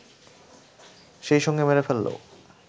সেই সঙ্গে মেরে ফেললেও